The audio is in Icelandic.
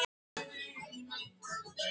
Bambi, hvað er í dagatalinu mínu í dag?